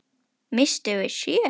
Misstum við sjö?